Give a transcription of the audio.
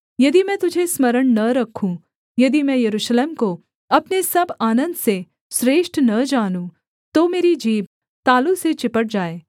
यदि मैं तुझे स्मरण न रखूँ यदि मैं यरूशलेम को अपने सब आनन्द से श्रेष्ठ न जानूँ तो मेरी जीभ तालू से चिपट जाए